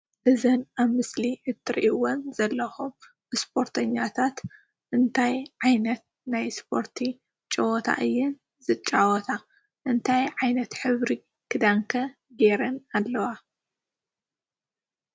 እዚን ኣብ ምስሊ እትርእዎን ዘለኩም እስፖርተኛታት እንታይ ዓይነት ናይ እስፖርቲ ጨወታ እዩን ዝጫወታ እንታይ ዓይነት ሕብሪ ክዳን ከ ገይረን ኣለዋ?